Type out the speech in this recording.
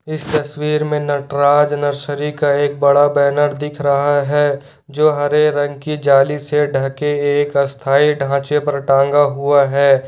इस तस्वीर में नटराज नर्सरी का एक बड़ा बैनर दिख रहा है जो हरे रंग की जाली से ढके एक अस्थाई ढांचे पर टांगा हुआ है।